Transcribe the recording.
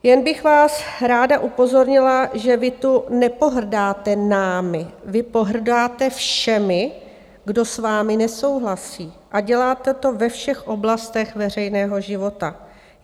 Jen bych vás ráda upozornila, že vy tu nepohrdáte námi, vy pohrdáte všemi, kdo s vámi nesouhlasí, a děláte to ve všech oblastech veřejného života.